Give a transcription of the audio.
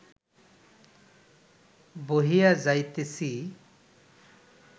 বহিয়া যাইতেছি